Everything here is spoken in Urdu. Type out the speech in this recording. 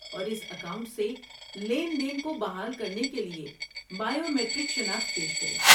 اور اس اکاؤنٹ سے لین دین کو بحال کرنے کے لیے بائیو میٹرک شناخت پیش کریں۔